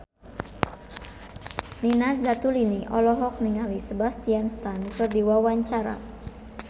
Nina Zatulini olohok ningali Sebastian Stan keur diwawancara